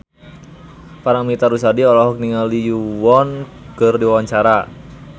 Paramitha Rusady olohok ningali Lee Yo Won keur diwawancara